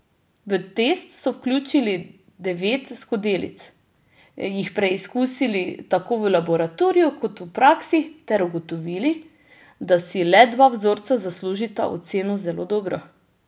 V test so vključili devet skodelic, jih preizkusili tako v laboratoriju kot v praksi ter ugotovili, da si le dva vzorca zaslužita oceno zelo dobro.